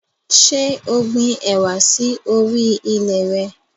Ṣé o gbin ẹwà sì orí ilẹ̀ re?